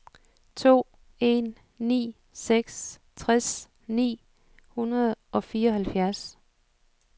to en ni seks tres ni hundrede og fireoghalvfjerds